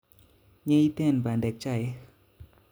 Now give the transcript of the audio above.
Nyeitten bandek chaik